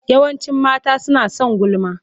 Yawancin mata suna son gulma.